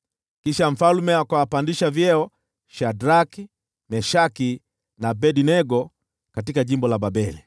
Kisha mfalme akawapandisha vyeo Shadraki, Meshaki na Abednego katika jimbo la Babeli.